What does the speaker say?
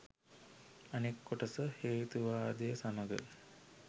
අනෙක් කොටස හේතුවාදය සමඟ